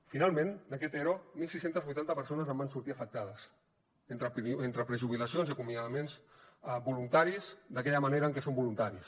finalment d’aquest ero setze vuitanta persones en van sortir afectades entre prejubilacions i acomiadaments voluntaris d’aquella manera en què són voluntaris